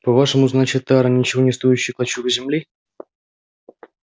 по-вашему значит тара ничего не стоящий клочок земли